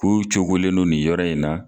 K'u cogolen don nin yɔrɔ in na